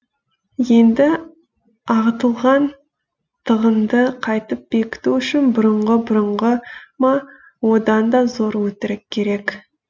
енді ағытылған тығынды қайтып бекіту үшін бұрынғы бұрынғы ма одан да зор өтірік керек